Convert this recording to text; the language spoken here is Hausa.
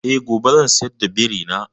Eh, gobe zan sayar da biri na.